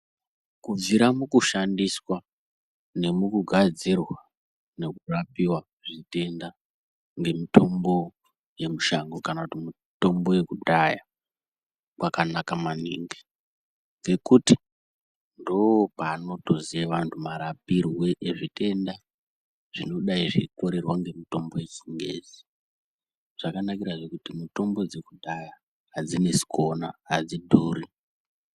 Kubvira mukushandiswa nemukugadzirwa nekurapiwa zvitenda nemitombo yemushango kana kuti mitombo yekudhaya kwakanaka maningi ngekuti ndopanotoziye vanhu marapirwe ezvitenda zvinodai zveikorerwa ngemitombo yechingezi, zvakanarizve kuti mitombo yekudhaya hadzinesi kuona, hadzidhuri.